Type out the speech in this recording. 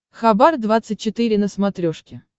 хабар двадцать четыре на смотрешке